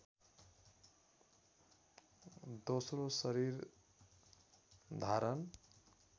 दोस्रो शरीर धारण